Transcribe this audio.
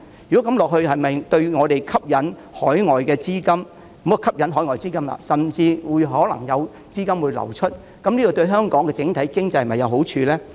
如果這樣下去，對本港吸引海外資金——不要說吸引海外資金因為可能會有資金流出——這對香港整體經濟是否有好處呢？